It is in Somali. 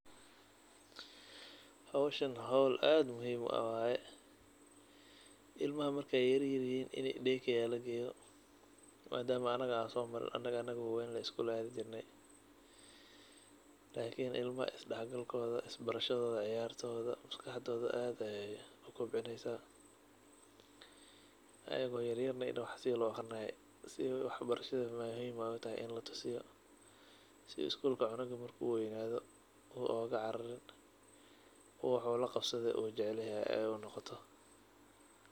Howshan howl aad u muhiim u ah waay. Ilmaha marka ay yeryer yihiin in ay day care la geeyo maadaama aniga aan soo marin anig anigo waweyn ley iskuul aadi jirnay. lakini ilma isdhexgalkooda, isbarashadooda, ciyaartooda maskaxdooda aad ayaay u cobcinaysaa. Ayigoo yeryerna in wax si loo akhrinaayo si ay waxbarashada muhiim ay u tahay in la tusiyo si skuulka cunuga marka uu waynaado uu ooga cararin uu wax oo la qabsado uu jacal yahay ay u noqoto.